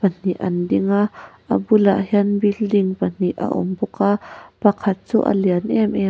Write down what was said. pahnih an ding a a bul ah hian building pahnih a awm bawk a pakhat chu a lian em em a.